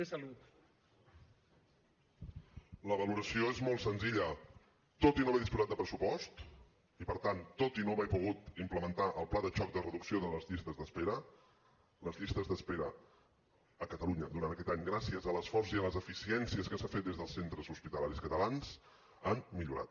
la valoració és molt senzilla tot i no haver disposat de pressupost i per tant tot i no haver pogut implementar el pla de xoc de reducció de les llistes d’espera les llistes d’espera a catalunya durant aquest any gràcies a l’esforç i a les eficiències que s’han fet des dels centres hospitalaris catalans han millorat